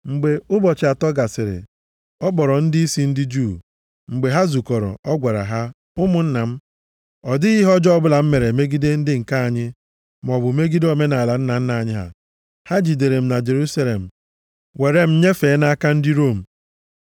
Mgbe ụbọchị atọ gasịrị, ọ kpọrọ ndịisi ndị Juu. Mgbe ha zukọrọ, ọ gwara ha, “Ụmụnna m, ọ dịghị ihe ọjọọ ọbụla m mere megide ndị nke anyị, maọbụ megide omenaala nna nna anyị ha, ha jidere m na Jerusalem were m nyefee m nʼaka ndị Rom.